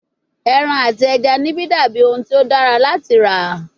Eran ati ẹja nibi dabi ohun ti o dara lati ra